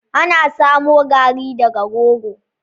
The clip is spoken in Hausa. Ana samo Garri daga rogo.